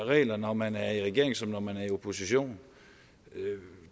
regler når man er i regering som når man er i opposition